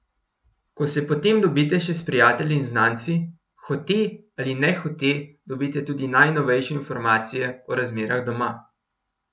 Ko se potem dobite še s prijatelji in znanci, hote ali nehote dobite tudi najnovejše informacije o razmerah doma.